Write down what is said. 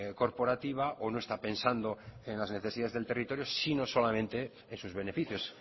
corporativa o no está pensando en las necesidades del territorio sino solamente en sus beneficios